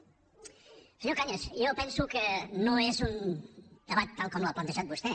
senyor cañas jo penso que no és un debat tal com l’ha plantejat vostè